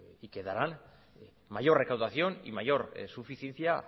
y que darán mayor recaudación y mayor suficiencia